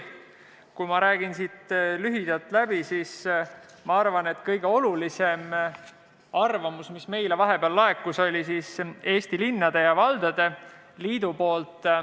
Lühidalt üle rääkides arvan, et kõige olulisem arvamus, mis meile vahepeal laekus, oli Eesti Linnade ja Valdade Liidu oma.